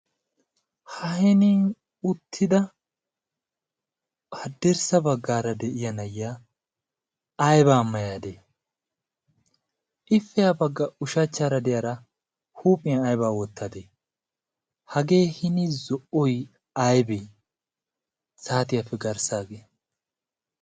ha henin uttida haddirssa baggaara de'iya nayiya aybaa mayaadee ippe yaa bagga ushachchaara de'iyaara huuphiyan aibaa wottadee hagee hini zo''oy aybee saatiyaappe garssaagee